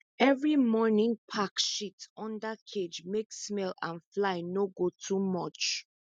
every morning pack shit under cage make smell and fly no go too much